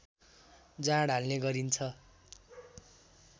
जाँड हाल्ने गरिन्छ